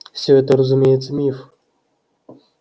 всё это разумеется миф